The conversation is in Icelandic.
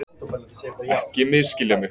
Ekki misskilja mig